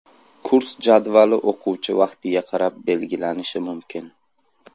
Kurs jadvali o‘quvchi vaqtiga qarab belgilanishi mumkin.